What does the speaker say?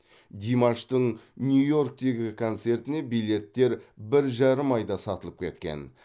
димаштың нью йорктегі концертіне билеттер бір жарым айда сатылып кеткен